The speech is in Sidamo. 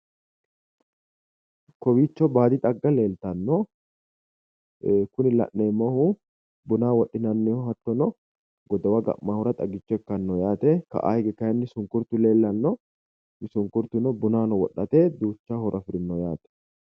Kowiicho baadi xagga leeltanno. Kuni la'neemmohu bunaho wodhinanniho hattono godowa ga'maahura xagicho ikkanno yaate. ka'aa hige sunkurtu leellanno. sunkurtuno bunaho wodhate duucha horo afirino yaate.